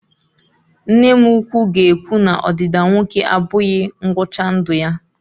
Nne m ukwu ga-ekwu na Ọdịda nwoke abụghị ngwụcha ndụ ya